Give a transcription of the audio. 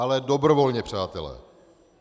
Ale dobrovolně, přátelé.